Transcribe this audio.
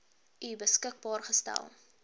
u beskikbaar gestel